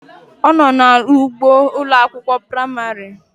Ono na ugbo Ụlọ akwụkwọ praịmarị?